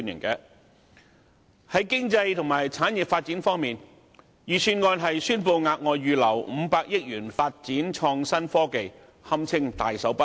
在經濟和產業發展方面，預算案宣布額外預留500億元發展創新科技，堪稱"大手筆"。